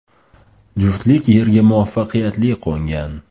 Juftlik yerga muvaffaqiyatli qo‘ngan.